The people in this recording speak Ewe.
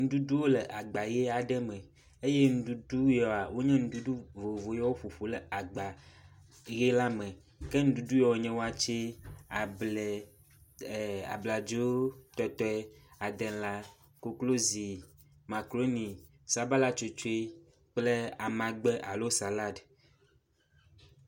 Nuɖuɖu le agba ʋi aɖe me, eye nuɖuɖu yia wonye nuɖuɖu vovovowo woƒoƒu ɖe agba ʋi aɖe me, ke nuɖuɖu ya woenye watse, able, abladzo tɔtɔe, adela koklozi makruni sabala tsotsɔe kple amagbe alo salad